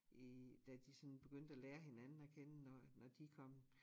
I da de sådan begyndte at lære hinanden at kende og når de kom